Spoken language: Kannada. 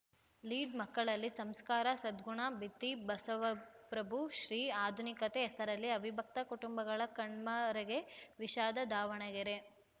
ಲೀಡ್‌ ಮಕ್ಕಳಲ್ಲಿ ಸಂಸ್ಕಾರ ಸದ್ಗುಣ ಬಿತ್ತಿ ಬಸವಪ್ರಭು ಶ್ರೀ ಆಧುನಿಕತೆ ಹೆಸರಲ್ಲಿ ಅವಿಭಕ್ತ ಕುಟುಂಬಗಳ ಕಣ್ಮರೆಗೆ ವಿಷಾದ ದಾವಣಗೆರೆ